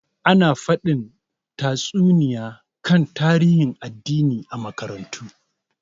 Ana faɗin tatsuniya kan tarihin addini a makarantu.